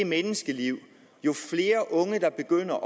menneskeliv jo flere unge der begynder